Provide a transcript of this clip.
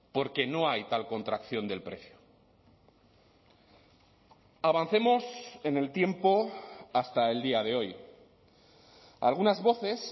porque no hay tal contracción del precio avancemos en el tiempo hasta el día de hoy algunas voces